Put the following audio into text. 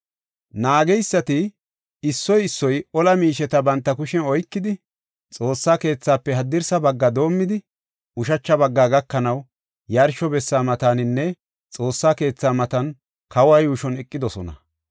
Naageysati issoy issoy ola miisheta banta kushen oykidi, Xoossa keethaafe haddirsa baggafe doomidi, ushacha bagga gakanaw, yarsho bessa mataninne Xoossa keetha matan kawa yuushuwan eqidosona.